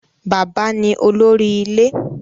Bàbá ni olórí ilé.